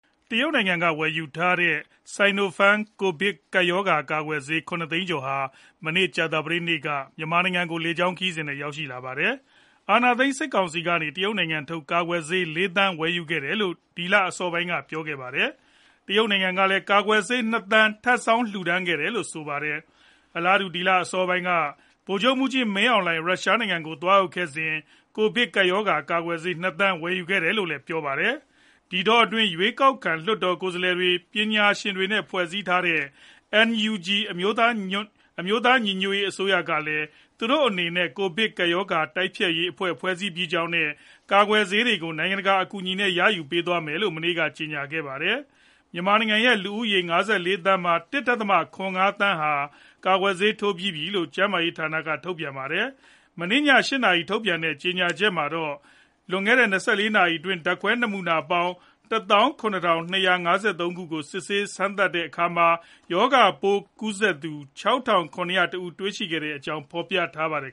တရုတ်နိုင်ငံက ဝယ်ယူထားတဲ့ sinopharm ကိုဗစ်ကပ်ရောဂါ ကာကွယ်ဆေး ၇၃၆၀၀၀ ဟာ မနေ့ ကြာသပတေးနေ့က မြန်မာနိုင်ငံကို လေကြောင်းနဲ့ ရောက်ရှိလာပါတယ်။ အာဏာသိမ်း စစ်ကောင်စီကနေ တရုတ်နိုင်ငံထုတ် ကာကွယ်ဆေး ၄ သန်းဝယ်ယူခဲ့တယ်လို့ ဒီလအစောပိုင်းက ပြောခဲ့ပါတယ်။ တရုတ်နိုင်ငံကလည်း ကာကွယ်ဆေး ၂သန်းထပ်ဆောင်း လှူဒါန်းခဲ့တယ်လို့ဆိုပါတယ်။ အလားတူူ ဒီလအစောပိုင်းက ဗိုလ်ချုပ်မှူးကြီး မင်းအောင်လှိုင် ရုရှားနိုင်ငံကို သွားရောက်ခဲ့စဉ်က ကိုဗစ်ကပ်ရောဂါ ကာကွယ်ဆေး ၂ သန်းဝယ်ယူခဲ့တယ်လို့ ပြောပါတယ်။ ဒီတောအတွင်း ရွေးကောက်ခံလွှတ်တော်ကိုယ်စားလှယ်တွေ၊ ပညာရှင်တွေနဲ့ ဖွဲ့စည်းထားတဲ့ NUG အမျိုးသား ညီညွတ်ရေးအစိုးရ ကလည်း သူတို့အနေနဲ့ ကိုဗစ်ကပ်ရောဂါတိုက်ဖျက်ရေးအဖွဲ့ ဖွဲ့စည်းပြီးကြောင်းနဲ့ ကာကွယ်ဆေးတွေကို နိုင်ငံတကာအကူအညီနဲ့ ရယူပေးသွားမယ်လို့ မနေ့က ကျေညာခဲ့ပါတယ်။ မြန်မာနိုင်ငံရဲ့ လူဦးရေ ၅၄ သန်းမှာ ၁ဒသမ၇၅ သန်း ဟာ ကာကွယ်ဆေးထိုးပြီးပြီလို့ ကျန်းမာရေးဌာနက ထုတ်ပြန်ထားပါတယ်။ မနေ့ည ၈ နာရီမှာ ထုတ်ပြန်တဲ့ကြေညာချက်မှာတော့ လွန်ခဲ့တဲ့ ၂၄ နာရီအတွင်း ဓါတ်ခွဲနမူနာပေါင်း ၁၇,၂၅၃ ခုကို စမ်းသပ် စစ်ဆေးခဲ့တဲ့တာမှာ ရောဂါပိုးကူးစက်နေသူ ၆,၇၀၁ ဦးကို တွေ့ရှိခဲ့ကြောင်း ဖော်ပြထားပါတယ်